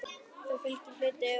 Þá fylgir hluti úr jörðum.